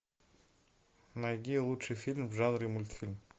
найди лучший фильм в жанре мультфильм